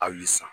A y'i san